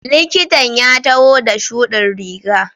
Likitan ya taho da shudin riga.